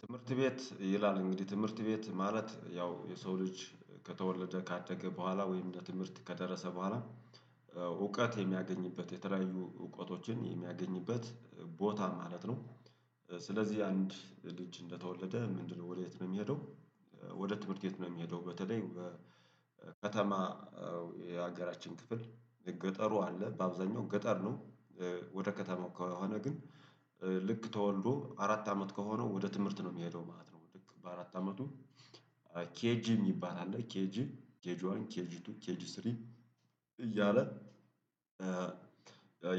ትምህርት ቤት ይላል እንግዲህ ትምህርት ቤት ማለት ያው የሰው ልጅ ከተወለደ ካደገ በኋላ ወይም ለትምህርት ከደረሰ በኋላ እውቀት የሚያገኝበት የተለያዩ እውቀቶችን የሚያገኝበት ቦታ ማለት ነው። ስለዚህ አንድ ልጅ እንደተወለደ ምንድነው ወዴት ነው እሚሄደው? ወደ ትምህርት ቤት ነው የሚሄደው በተለይ ከተማ የሀገራችን ክፍል ገጠሩ አለ በአብዛኛው ገጠር ነው። ወደ ከተማው ከሆነ ግን ልክ ተወልዶ አራት አመት ከሆነው ወደ ትምህርት ነው እሚሄደው ማለት ነው። በአራት አመቱ ኬጂ እሚባል አለ ኬጂ ኬጂ ዋን ኬጂ ቱ ኬጂ ስሪ። እያለ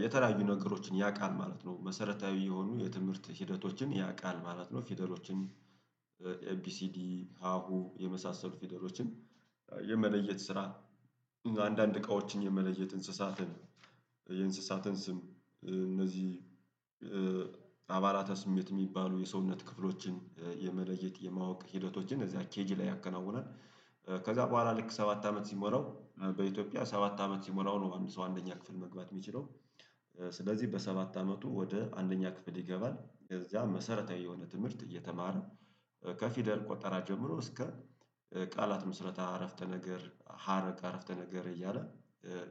የተለያዩ ነገሮችን ያቃል ማለት ነው መሰረታዊ የሆኑ የትምህርት ሂደቶችን ያቃል ማለት ነው። ፊደሎችን ኤቢሲዲ ሀሁ የመሳሰሉ ፌደሎችን የመለየት ስራ አንዳንድ እቃዎችን የመለየት እንስሳትን የእንሰሳትን ስም እነዚህ አባላተ ስሜት እሚባሉ የሰውነት ክፍሎችን የመለየት የማወቅ ሂደቶችን እዚያ ኬጂ ላይ ያከናውናል። ከዛ በኋላ ልክ ሰባት አመት ሲሞላው በኢትዮጵያ ሰባት አመት ሲሞላው ነው አንድ ሰው አንደኛ ክፍል መግባት እሚችለው። ስለዚህ በሰባት አመቱ ወደ አንደኛ ክፍል ይገባል እዚያ መሰረታዊ የሆነ ትምህርት እየተማረ ከፊደል ቆጠራ ጀምሮ እስከ ቃላት ምስረታ አረፍተ ነገር ሀረግ አረፍተ ነገር እያለ።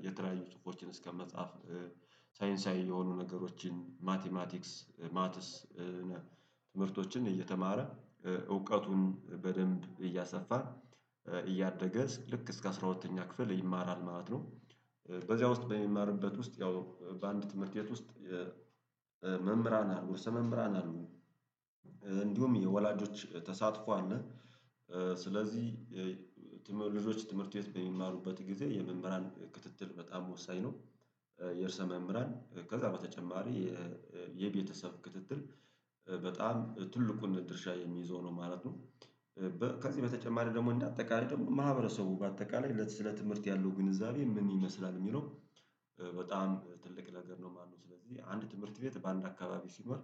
የተለያዩ ጽሁፎችን እስከ መጽሐፍ ሳይንሳዊ የሆኑ ነገሮችን ማቲማቲክስ ማትስ ትምህርቶችን እየተማረ እውቀቱን በደንብ እያሰፋን እያደገ ልክ እስከ አስራ ሁለተኛ ክፍል ይማራል ማለት ነው። በዚያ ውስጥ በሚማርበት ውስጥ ያው በአንድ ትምህርት ቤት ውስጥ የመምህራን አሉ ርዕሰ መምህራን አሉ። እንዲሁም የወላጆች ተሳትፎ አለ። ስለዚህ ትምህር ልጆች ትምህርት ቤት በሚማሩበት ጊዜ የመምህራን ክትትል በጣም ወሳኝ ነው። የርእሰ መምህራን ከዛ በተጨማሪ የቤተሰብ ክትትል በጣም ትልቁን ድርሻ የሚይዘው ነው ማለት ነው። ከዚህ በተጨማሪ ደግሞ እንደ አጠቃላይ ደግሞ ማህበረሰቡ በአጠቃላይ ለት ስለ ትምህርት ያለው ግንዛቤ ምን ይመስላል እሚለው? በጣም ትልቅ ነገር ነው ማለት ነው። ስለዚህ አንድ ትምህርት ቤት በአንድ አካባቢ ሲኖር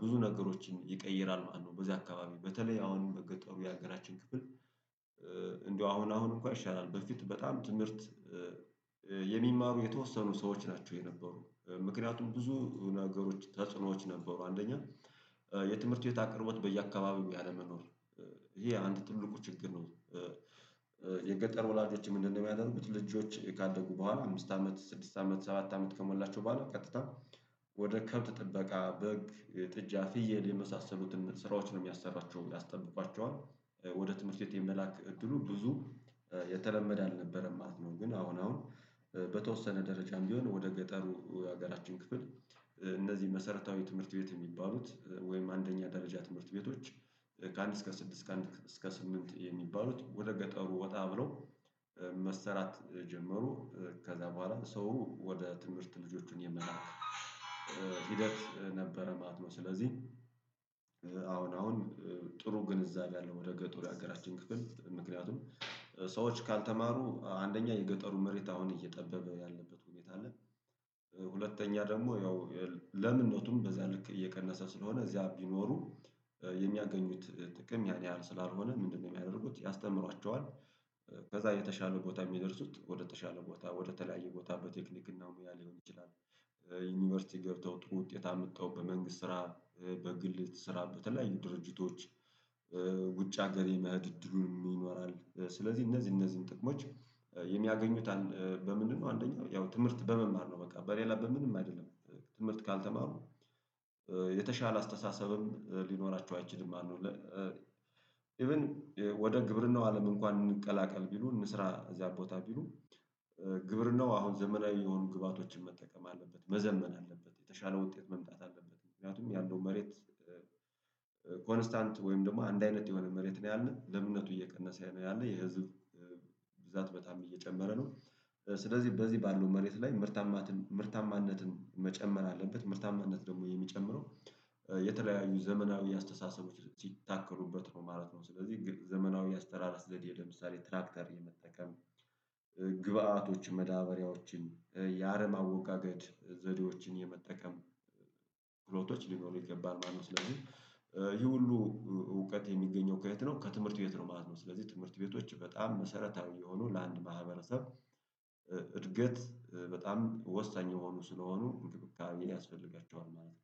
ብዙ ነገሮችን ይቀይራል ማለት ነው። በዚህ አካባቢ በተለይ አሁን ገጠሩ የሀገራችን ክፍል። እንደው አሁን አሁን እንኳን ይሻላል በፊት በጣም ትምህርት የሚማሩ የተወሰኑ ሰዎች ናቸው የነበሩ ምክንያቱም ብዙ ነገሮች ተጽዕኖዎች ነበሩ። አንደኛ የትምህርት ቤት አቅርቦት በየአካባቢው ያለመኖር። ይሄ አንድ ትልቁ ችግር ነው። የገጠር ወላጆችም ምንድነው? የሚያደርጉት ልጆች ካደጉ በኋላ አምስት አመት ስድስት አመት ሰባት አመት ከሞላቸው በኋላ ቀጥታ ወደ ከብት ጥበቃ በግ ጥጃ ፍየል የመሳሰሉትን ስራዎችን ነው እሚያሰራቸው ያስጠብቋቸዋል። ወደ ትምህርት ቤት የመላክ እድሉ ብዙ የተለመደ አልነበረም ማለት ነው። ግን አሁን አሁን በተወሰነ ደረጃም ቢሆን ወደ ገጠሩ የሀገራችን ክፍል እነዚህ መሰረታዊ ትምህርት ቤት የሚባሉት ወይም አንደኛ ደረጃ ትምህርት ቤቶች። ከአንድ እስከ ስድስት ከአንድ እስከ ስምንት የሚባሉት ወደ ገጠሩ ወጣ ብለው መስራት ጀመሩ። ከዛ በኋላ ሰው ወደ ትምህርት ልጆቹን የመላክ ሂደት ነበረ ማለት ነው። ስለዚህ አሁን አሁን ጥሩ ግንዛቤ አለው ወደ ገጠር ያሀገራችን ክፍል ምክንያቱም ሰዎች ካልተማሩ አንደኛ የገጠሩ መሬት አሁን እየጠበበ ያለበት ሁኔታ አለ። ደግሞ ያው ለምነቱም በዛ ልክ እየቀነሰ ስለሆነ እዚያ ቢኖሩ የሚያገኙት ጥቅም ያን ያህል ስላልሆነ ምንድነው የሚያደርጉት ያስተምሯቸዋል። ከዛ የተሻለ ቦታ እሚደርሱት ወደ ተሻለ ቦታ ወደ ተለያየ ቦታ በቴክኒክ እና ሙያ ሊሆን ይችላል። ዩኒቨርሲቲ ገብተው ጥሩ ውጤት አምተው በመንግስት ስራ በግል ስራ በተለያዩ ድርጅቶች። ውጭ ሀገር የመህድ እድሉን ይኖራል። ስለዚህ እነዚህ እነዚህን ጥቅሞች የሚያገኙት በምንድነው አንደኛው ያው ትምህርት በመማር ነው። በቃ በሌላ በምንም አይደለም። ትምህርት ካልተማሩ የተሻለ አስተሳሰብም ሊኖራቸው አይችልም ማለት ነው። ኢቭን ወደ ግብርናው አለም እንኳን እንቀላቀል ቢሉ እንስራ እዛ ቦታ ቢሉ። ግብርናው አሁን ዘመናዊ የሆኑ ግብአቶችን መጠቀም አለበት መዘመን አለበት የተሻለ ውጤት መምጣት አለበት። ምክንያቱም ያለው መሬት ኮንስታንት ወይም ደግሞ አንድ አይነት የሆነ መሬት ነው ያለ ለምነቱ እየቀነሰ ነው ያለ የህዝብ ብዛት በጣም እየጨመረ ነው። ስለዚህ በዚህ ባለው መሬት ላይ። ምርታማነትን መጨመር አለበት ምርታማነት ደግሞ የሚጨምረው የተለያዩ ዘመናዊ አስተሳሰቦች ሲታከሩበት ነው ማለት ነው። ስለዚህ ዘመናዊ አስተራራስ ዘዴ ለምሳሌ ትራክተር የመጠቀም። መዳበሪያዎችን ያረም አወጋገድ ዘዴዎችን የመጠቀም ክህሎቶች ሊኖሩ ይገባል ማለት ነው። ስለዚህ ይሄ ሁሉ እውቀት የሚገኘው ከየት ነው? ከትምህርት ቤት ነው ማለት ነው። ስለዚህ ትምህርት ቤቶች በጣም መሰረታዊ የሆኑ ለአንድ ማህበረሰብ እድገት በጣም ወሳኝ የሆኑ ስለሆኑ እንክብካቤ ያስፈልጋቸዋል ማለት ነው